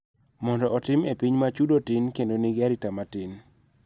Mondo otim e piny ma chudo tin kendo ma nigi arita matin.